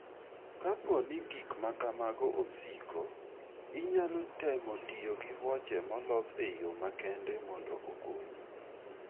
Kapo ni gik ma kamago osiko, inyalo temo tiyo gi wuoche molos e yo makende mondo okonyi.